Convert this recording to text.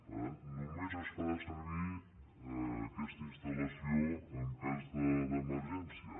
per tant només es farà servir aquesta instal·lació en cas d’emergència